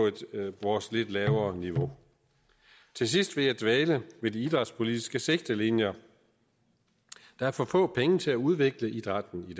vores lidt lavere niveau til sidst vil jeg dvæle ved de idrætspolitiske sigtelinjer der er for få penge til at udvikle idrætten i